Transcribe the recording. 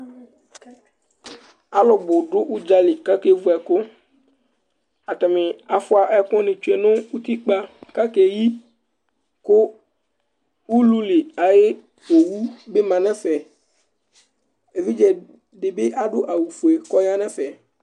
Alʋbʋ dʋ ʋdzali kʋ akevʋ ɛkʋ, atani afʋ ɛkʋni tsʋe nʋ utikpa, kʋ akeyi kʋ ululi ayʋ owʋ bi manʋ ɛfɛ Evidze dibi adʋ awʋfue kʋ ɔyanʋ ɛfɛ